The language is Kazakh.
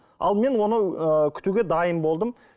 ал мен оны ыыы күтуге дайын болдым